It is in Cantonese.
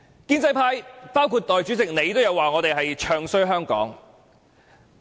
建制派包括代理主席說我們"唱衰"香港。